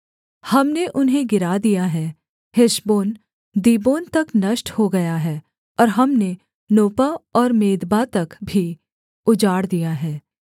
हमने उन्हें गिरा दिया है हेशबोन दीबोन तक नष्ट हो गया है और हमने नोपह और मेदबा तक भी उजाड़ दिया है